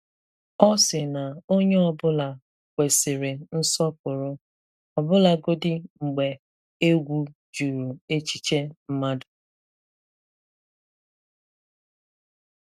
Ọ sị na onye ọ bụla kwesịrị nsọ̀pụrụ, ọbụlagodị mgbe ègwù jurù echiche mmadụ.